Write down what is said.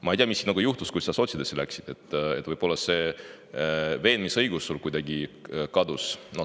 Ma ei tea, mis sinuga juhtus, kui sa sotside sekka läksid, võib-olla see veenmisõigus sul kuidagi kadus.